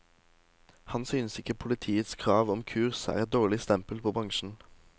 Han synes ikke politiets krav om kurs er et dårlig stempel på bransjen.